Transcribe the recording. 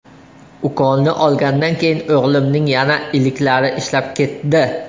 Ukolni olgandan keyin o‘g‘limning yana iliklari ishlab ketdi.